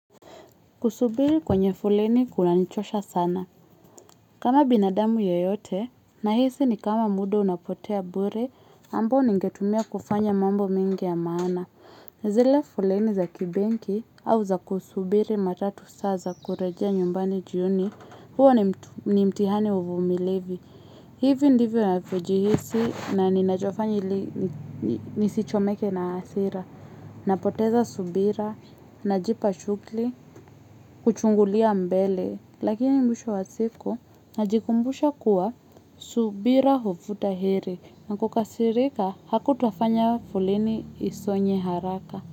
Kusubiri kwenye foleni kunanichosha sana. Kama binadamu yeyote, nahisi ni kama muda unapotea bure, ambao ningetumia kufanya mambo mingi ya maana. Zile foleni za kibenki au za kusubiri matatu saa za kurejea nyumbani jioni huo ni mtihani wa uvumilevi. Hivi ndivyo ninavyojihisi na ninachofanya ili nisichomeke na asira. Napoteza subira najipa shukli kuchungulia mbele lakini mwisho wa siku najikumbusha kuwa subira huvuta heri na kukasirika hakutafanya foleni isonye haraka.